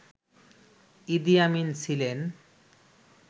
ইদি Amin ছিলেন